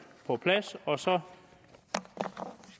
på plads og så